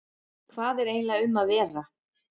Hvað er eiginlega um að vera?